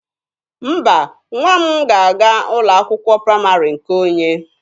Mba, nwa m ga-aga ụlọ akwụkwọ praịmarị nke onye.